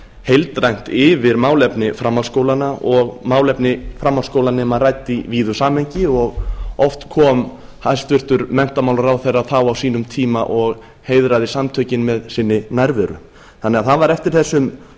heildrænt yfir málefni framhaldsskólanna og málefni framhaldsskólanema rædd í víðu samhengi og oft kom hæstvirtur menntamálaráðherra þá á sínum tíma og heiðraði samtökin með sinni nærveru þannig að það var eftir þessum